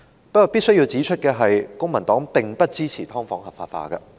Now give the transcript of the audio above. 不過，我必須指出，公民黨並不支持"劏房"合法化。